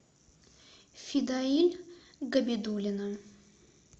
фидаиль габидуллина